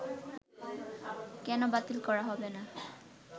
কেন বাতিল করা হবে না